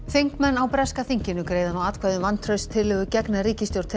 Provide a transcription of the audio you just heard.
þingmenn á breska þinginu greiða nú atkvæði um vantrauststillögu gegn ríkisstjórn